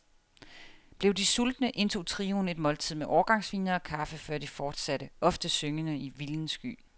Blev de sultne, indtog trioen et måltid med årgangsvine og kaffe, før de fortsatte, ofte syngende i vilden sky.